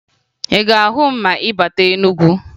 Ị ga-ahụ m ma ị bata Enugu